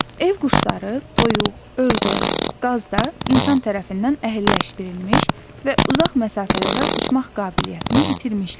Ev quşları toyuq, ördək, qaz da insan tərəfindən əhəlləşdirilmiş və uzaq məsafələrə uçmaq qabiliyyətini itirmişlər.